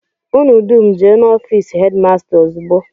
Unu dum jee n'ofịịsị hedịmasta ozugbo!